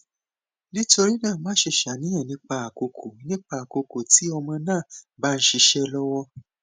nitorina maṣe ṣàníyàn nipa akoko nipa akoko ti ọmọ naa ba nṣiṣe lọwọ